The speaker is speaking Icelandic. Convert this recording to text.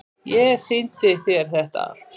Ég sýndi þér þetta allt.